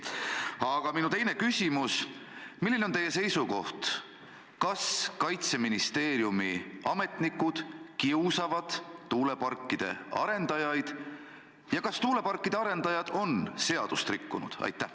Aga minu teine küsimus on: milline on teie seisukoht, kas Kaitseministeeriumi ametnikud kiusavad tuuleparkide arendajaid ja kas tuuleparkide arendajad on seadust rikkunud?